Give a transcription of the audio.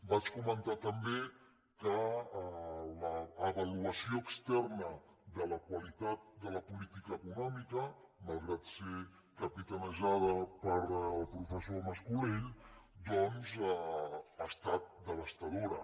vaig comentar també que l’avaluació externa de la qualitat de la política econòmica malgrat ser capitanejada pel professor mas colell ha estat devastadora